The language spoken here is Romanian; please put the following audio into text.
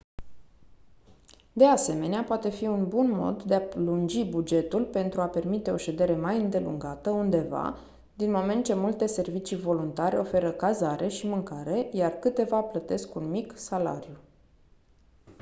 de asemenea poate fi un bun mod de a lungi bugetul pentru a permite o ședere mai îndelungată undeva din moment ce multe servicii voluntare oferă cazare și mâncare iar câteva plătesc un mic salariu